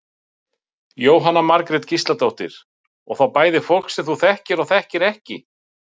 Jóhanna Margrét Gísladóttir: Og þá bæði fólk sem þú þekkir og þekkir ekki?